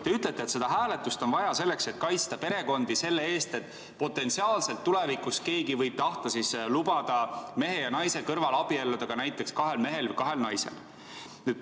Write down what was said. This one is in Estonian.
Te ütlete, et seda hääletust on vaja selleks, et kaitsta perekondi selle eest, et potentsiaalselt võib tulevikus keegi tahta lubada mehe ja naise kõrval abielluda ka näiteks kahel mehel või kahel naisel.